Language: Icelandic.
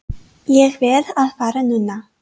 Ég verð að fara núna!